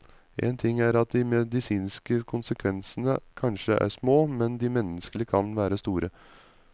En ting er at de medisinske konsekvensene kanskje er små, men de menneskelige kan være store.